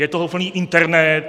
Je toho plný internet.